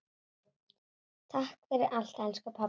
Takk fyrir allt elsku pabbi.